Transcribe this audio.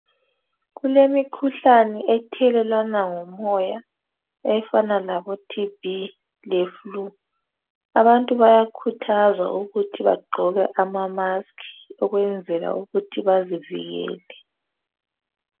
Kulemikhuhlane ethelelwana ngomoya efana labo thibhi lefulu , abantu bayakhuthazwa ukuthi bagqoke amamaski ukwenzela ukuthi bazivikele.